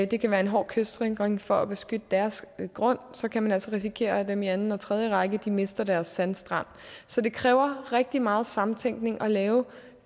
det kan være en hård kystsikring for at beskytte deres grund så kan man altså risikere at dem i anden og tredje række mister deres sandstrand så det kræver rigtig meget samtænkning at lave